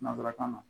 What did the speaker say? Nansarakan na